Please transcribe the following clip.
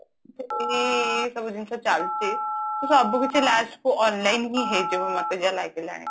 ଏଇ ସବୁ ଜିନିଷ ଚାଲିଛି ତ ସବୁ କିଛି last କୁ online ହିଁ ହେଇଯିବ ମତେ ଯାହା ଲାଗିଲାଣି